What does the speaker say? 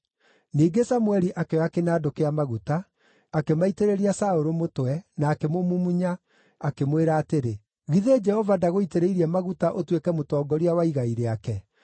Ningĩ Samũeli akĩoya kĩnandũ kĩa maguta, akĩmaitĩrĩria Saũlũ mũtwe, na akĩmũmumunya, akĩmwĩra atĩrĩ, “Githĩ Jehova ndagũitĩrĩirie maguta ũtuĩke mũtongoria wa igai rĩake?